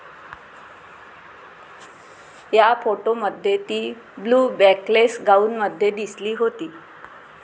या फोटोंमध्ये ती ब्लू बॅकलेस गाऊनमध्ये दिसली होती.